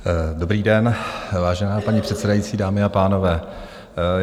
Dobrý den, vážená paní předsedající, dámy a pánové.